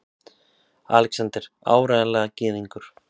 ALEXANDER: Áreiðanlega gyðingur!